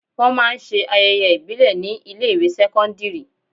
Wọn máa ń ṣe ayẹyẹ ìbílè ni ilé ìwé sẹ́kọ́ńdírì.